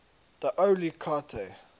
d oyly carte